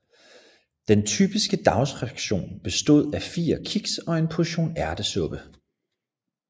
Den typiske dagsration bestod af fire kiks og en portion ærtesuppe